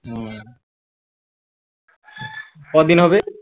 হম কদিন হবে